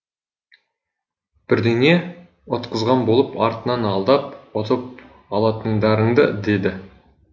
бірдеңе ұтқызған болып артынан алдап ұтып алатындарыңды деді